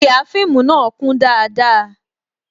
Ihà fíìmù na kún dáadáa